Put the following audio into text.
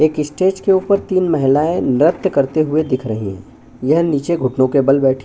एक स्टेज के ऊपर तीन महिलाएँ नृत्य करते हुए दिख रही है यह नीचे घुटनों के बल बैठी हैं।